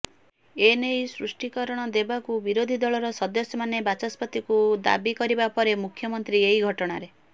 ଏେନେଇ ସ୍ପଷ୍ଟିକରଣ ଦେବାକୁ ବିରୋଧିଦଳର ସଦସ୍ୟମାନେ ବାଚସ୍ପତିଙ୍କୁ ଦାବି କରିବା ପରେ ମୁଖ୍ୟମନ୍ତ୍ରୀ ଏହି ଘଟଣାରେ